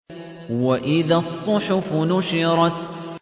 وَإِذَا الصُّحُفُ نُشِرَتْ